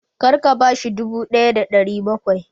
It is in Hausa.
Kar ka bashi dubu ɗaya da ɗari bakwai!